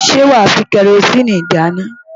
Ṣé wàá fi kẹrosíìnì dáná?